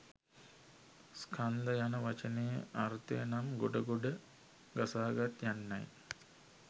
ස්කන්ධ යන වචනයේ අර්ථය නම් ගොඩ ගොඩ ගසාගත් යන්නයි.